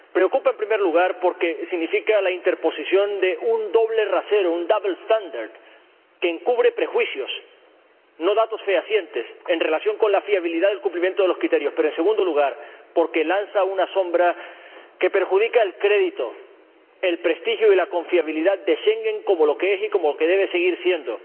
Preocupa, en primer lugar, porque significa la interposición de un doble rasero, un double standard que encubre prejuicios, no datos fehacientes, en relación con la fiabilidad del cumplimiento de los criterios, pero, en segundo lugar, porque lanza una sombra que perjudica el crédito, el prestigio y la confiabilidad de Schengen como lo que es y como lo que debe seguir siendo